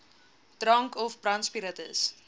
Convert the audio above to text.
drank of brandspiritus